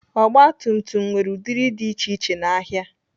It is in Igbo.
Ọgbatumtum nwere ụdịrị dị iche iche n'ahịa.